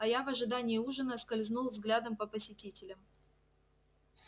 а я в ожидании ужина скользнул взглядом по посетителям